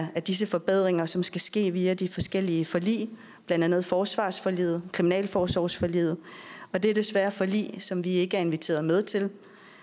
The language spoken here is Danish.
af disse forbedringer som skal ske i efteråret via de forskellige forlig blandt andet forsvarsforliget og kriminalforsorgsforliget og det er desværre forlig som vi ikke er inviteret med til